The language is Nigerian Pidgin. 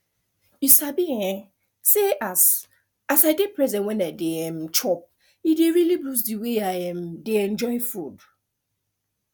you sabi um say as as i dey present when i dey um chop e don really boost the way i um dey enjoy food